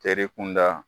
Teri kunda